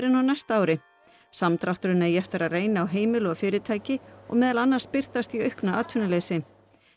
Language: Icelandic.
en á næsta ári samdrátturinn eigi eftir að reyna á heimili og fyrirtæki og meðal annars birtast í auknu atvinnuleysi